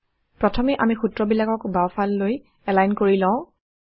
প্ৰথমে আমি সূত্ৰবিলাকক বাওঁফাললৈ এলাইন কৰি লওঁ